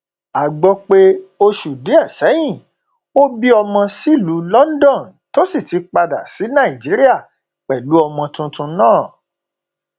a gbọ pé oṣù díẹ sẹyìn bí ọmọ sílùú london tó sì ti padà sí nàìjíríà pẹlú ọmọ tuntun náà